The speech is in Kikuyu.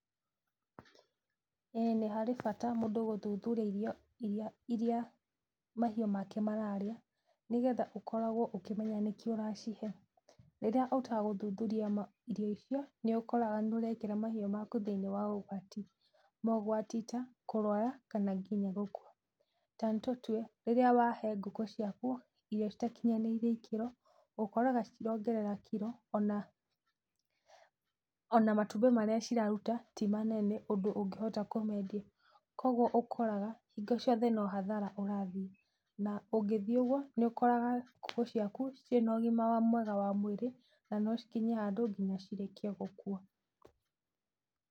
Ĩĩ nĩharĩ bata mũndũ gũthuthuria irio iria mahiũ make mararĩa, nĩgetha ũkoragwo ũkĩmenya nĩkĩ ũracihe. Rĩrĩa ũtegũthuthuria irio icio, nĩũkoraga nĩũrekĩra mahiũ maku thĩinĩ wa ũgwati. Maũgwati ta: kũrwara, kana nginya gũkua. Tanĩtũtue, rĩrĩa wahe ngũkũ ciaku irio citakinyanĩire ikĩro, ũkoraga citirongerera kiro, ona ona matumbĩ marĩa ciraruta, ti manene ũndũ ũngĩhota kũmendia, koguo ũkoraga, hingo ciothe no hathara ũrathiĩ, na ũngĩthiĩ ũguo, nĩũkoraga ngũkũ ciaku, citirĩ na ũgima mwega wa mwĩrĩ, na nocikinye handũ nginya cirĩkie gũkua.